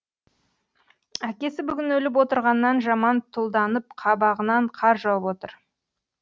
әкесі бүгін өліп отырғаннан жаман тұлданып қабағынан қар жауып отыр